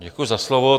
Děkuji za slovo.